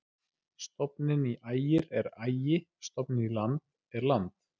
Stofninn í Ægir er Ægi-, stofninn í land er land.